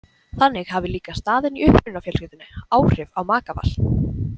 Þannig hafi líka staðan í upprunafjölskyldunnni áhrif á makaval.